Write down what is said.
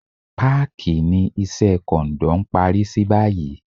Páàkì ni Iṣẹ́ kọ̀ǹdọ́ ń parí sí báyìí